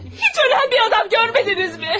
Heç öləli bir adam görmədinizmi?